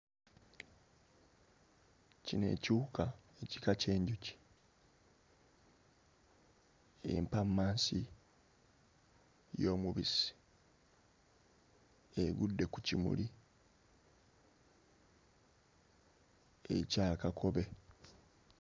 Kino ekiwuka ekika ky'enjuki empammasi y'omubisi egudde ku kimuli ekya kakobe.